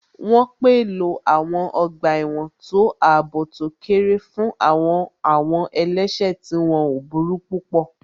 Wọ́n pèlò àwọn ọgbà ẹ̀wọ̀n tó àbò tó kéré fún àwọn àwọn ẹlẹ́sẹ̀ tí wọ́n ò burú púpọ̀